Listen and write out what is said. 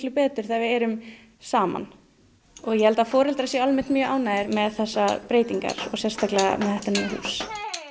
betur þegar við erum saman og ég held að foreldrar séu almennt mjög ánægðir með þessar breytingar og sérstaklega þetta nýja hús